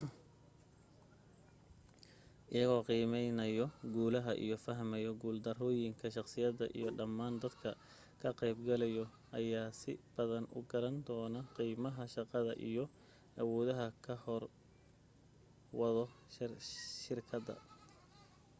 iyagoo qiimeynaayo guulaha iyo fahmayo guul darooyinka shakhsiyada iyo dhamaan dadka ka qayb galaayo ayaa si badan u garan doono qiimaha shaqada iyo awoodaha hor wado shirkadda